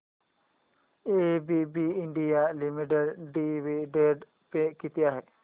ABB India limited dividend pay किती आहे